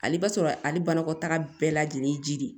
Ale b'a sɔrɔ ale banakɔtaaga bɛɛ lajɛlen ye ji de ye